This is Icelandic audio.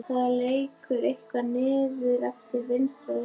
Það lekur eitthvað niður eftir vinstra lærinu.